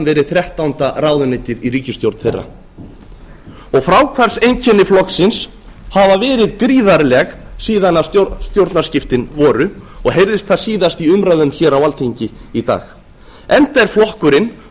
verið þrettánda ráðuneytið í ríkisstjórn þeirra fráhvarfseinkenni flokksins hafa verið gríðarleg síðan stjórnarskiptin voru og heyrðist það síðast í umræðum hér á alþingi í dag enda er flokkurinn búinn að vera